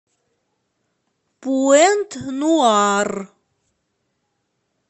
пуэнт нуар